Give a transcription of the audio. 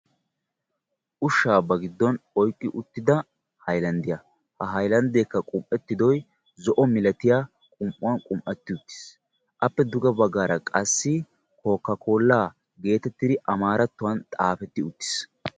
Ushsha ba giddon oyqqi uttida hayllanddiya; ha hayllanddekka qum"ettidoy zo'o milatiya qum"uwaa qum'etti uttis; appe duge baggara qassi koka-kolla geetitidi amaratuwaan xaafeti uttiis.